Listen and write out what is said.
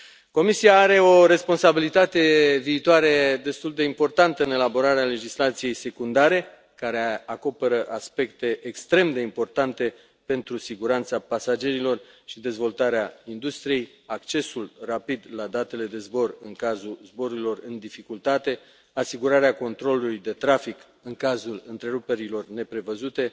Comisia are o responsabilitate viitoare destul de importantă în elaborarea legislației secundare, care acoperă aspecte extrem de importante pentru siguranța pasagerilor și dezvoltarea industriei, accesul rapid la datele de zbor în cazul zborurilor în dificultate, asigurarea controlului de trafic în cazul întreruperilor neprevăzute,